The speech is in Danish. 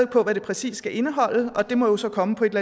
på hvad det præcis skal indeholde og det må jo så komme på et